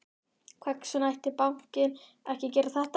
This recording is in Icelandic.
Hvers vegna ætti bankinn ekki að gera þetta?